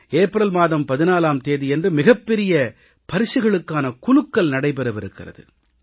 April மாதம் 14ஆம் தேதியன்று மிகப் பெரிய பரிசுகளுக்கான குலுக்கல் நடைபெறவிருக்கிறது